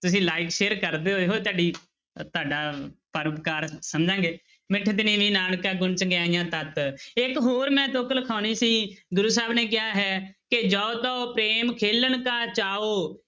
ਤੁਸੀਂ like share ਕਰਦੇ ਤੁਹਾਡੀ ਤੁਹਾਡਾ ਪਰਉਪਕਾਰ ਸਮਝਾਂਗੇ, ਮਿਠਤੁ ਨੀਵੀ ਨਾਨਕਾ ਗੁਣ ਚੰਗਿਆਈਆ ਤਤੁ, ਇੱਕ ਹੋਰ ਮੈਂ ਤੁੱਕ ਲਿਖਵਾਉਣੀ ਸੀ ਗੁਰੂ ਸਾਹਿਬ ਨੇ ਕਿਹਾ ਹੈ ਕਿ ਜਉ ਤਉ ਪ੍ਰੇਮ ਖੇਲਣ ਕਾ ਚਾਉ,